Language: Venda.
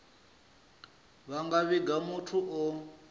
vha nga vhiga muthu o